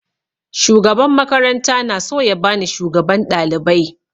Shugaban makaranta na so ya bani shugaban ɗalibai